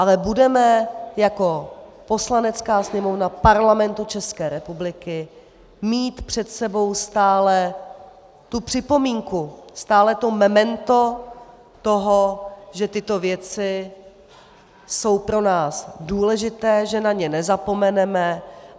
Ale budeme jako Poslanecká sněmovna Parlamentu České republiky mít před sebou stále tu připomínku, stále to memento toho, že tyto věci jsou pro nás důležité, že na ně nezapomeneme.